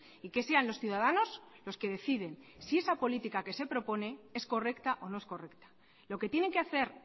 y que sean los ciudadanos los que deciden si esa política que se propone es correcta o no es correcta lo que tienen que hacer